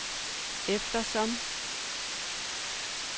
eftersom